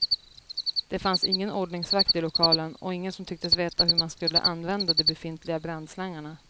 Det fanns ingen ordningsvakt i lokalen och ingen som tycktes veta hur man skulle använda de befintliga brandslangarna.